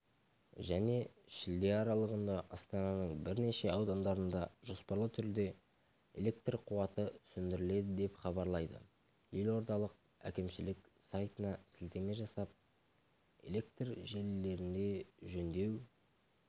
және шілде аралығында астананың бірнеше аудандарында жоспарлы түрде электр қуаты сөндіріледі деп хабарлайды елордалық әкімшілік сайтына сілтеме жасап электр желілерінде жөндеу